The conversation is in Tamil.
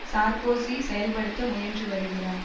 சார்க்கோசி செயல்படுத்த முயன்று வருகிறார்